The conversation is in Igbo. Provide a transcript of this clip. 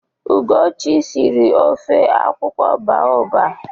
Ugochi sịrị ọfọ akwụkwọ baọba.